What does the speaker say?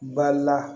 Bala